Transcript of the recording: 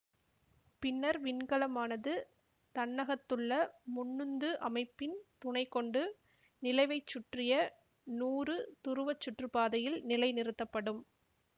பின்னர் விண்கலமானது தன்னகத்துள்ள முன்னுந்து அமைப்பின் துணை கொண்டு நிலவைச்சுற்றிய நூறு துருவச் சுற்றுப்பாதையில் நிலைநிறுத்தப்படும்